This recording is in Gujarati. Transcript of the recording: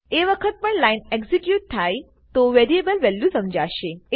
એ વખત પણ લાઈન એક્ઝીક્યુટ થાય તો વેરીએબલની વેલ્યુ સમઝાશે